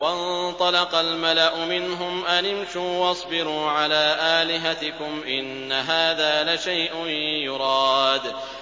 وَانطَلَقَ الْمَلَأُ مِنْهُمْ أَنِ امْشُوا وَاصْبِرُوا عَلَىٰ آلِهَتِكُمْ ۖ إِنَّ هَٰذَا لَشَيْءٌ يُرَادُ